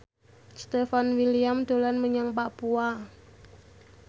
Stefan William dolan menyang Papua